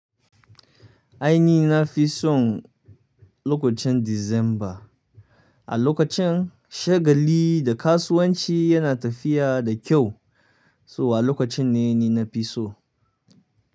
Aini na fi son lokacin December. A lokacin shagali da kasuwanci yana tafiya da kyau, so wa lokacin ne ni na fi so.